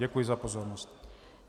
Děkuji za pozornost.